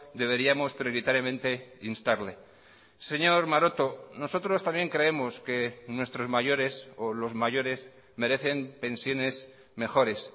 deberíamos prioritariamente instarle señor maroto nosotros también creemos que nuestros mayores o los mayores merecen pensiones mejores